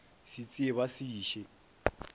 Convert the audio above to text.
se tsee ba se iše